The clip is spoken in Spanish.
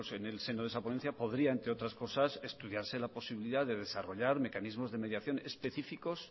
en el seno de esa ponencia podría entre otras cosas estudiarse la posibilidad de desarrollar mecanismos de mediación específicos